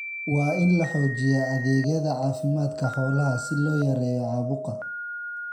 Waa in la xoojiyaa adeegyada caafimaadka xoolaha si loo yareeyo caabuqa.